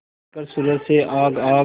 लेकर सूरज से आग आग